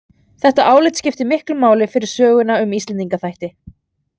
Þetta álit skiptir miklu máli fyrir söguna um Íslendingaþætti.